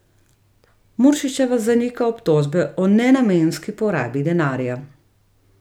Muršičeva zanika obtožbe o nenamenski porabi denarja.